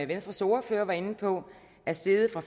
venstres ordfører var inde på er steget fra